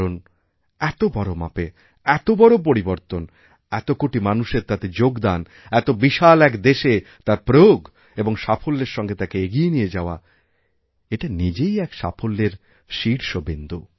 কারণ এত বড় মাপে এত বড় পরিবর্তন এত কোটিমানুষের তাতে যোগদান এত বিশাল এক দেশে তার প্রয়োগ এবং সাফল্যের সঙ্গে তাকে এগিয়েনিয়ে যাওয়া এটা নিজেই এক সাফল্যের শীর্ষবিন্দু